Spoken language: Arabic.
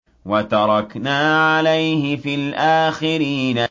وَتَرَكْنَا عَلَيْهِ فِي الْآخِرِينَ